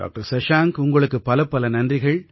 doctor Shashank உங்களுக்கு பலப்பல நன்றிகள்